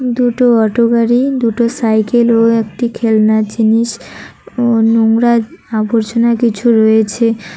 দুটো অটো গাড়ি দুটো সাইকেল ও একটি খেলনা জিনিস ও নোংরা আবর্জনা কিছু রয়েছে।